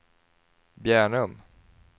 Bjärnum